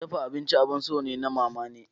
Dafa abinci abun so ne na mamane.